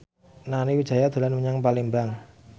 Nani Wijaya dolan menyang Palembang